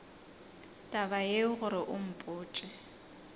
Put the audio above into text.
taba yeo gore o mpotše